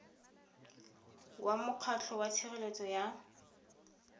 wa mokgatlho wa tshireletso ya